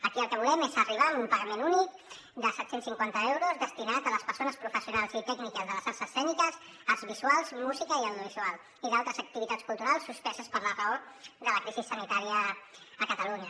aquí el que volem és arribar a un pagament únic de set cents i cinquanta euros destinat a les persones professionals i tècniques de les arts escèniques arts visuals música i audiovisual i d’altres activitats culturals suspeses per la raó de la crisi sanitària a catalunya